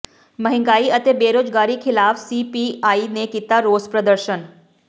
ਮਹਿੰਗਾਈ ਅਤੇ ਬੇਰੁਜ਼ਗਾਰੀ ਖਿਲਾਫ਼ ਸੀਪੀਆਈ ਨੇ ਕੀਤਾ ਰੋਸ ਪ੍ਰਦਰਸ਼ਨ